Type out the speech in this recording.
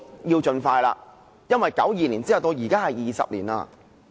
要盡快，因為1992年到現在，已20多年了。